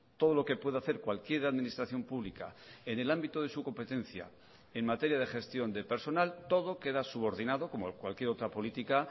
todo lo que puede hacer cualquier administración pública en el ámbito de su competencia en materia de gestión de personal todo queda subordinado como cualquier otra política